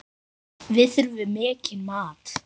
Við þurfum mikinn mat.